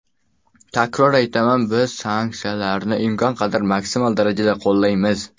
Takror aytaman, biz sanksiyalarni imkon qadar maksimal darajada qo‘llaymiz.